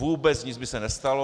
Vůbec nic by se nestalo.